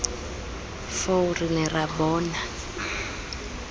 foo re ne ra bona